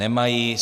Nemají.